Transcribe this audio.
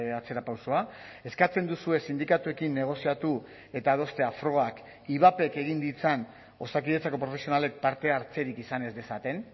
atzerapausoa eskatzen duzue sindikatuekin negoziatu eta adostea frogak ivapek egin ditzan osakidetzako profesionalek parte hartzerik izan ez dezaten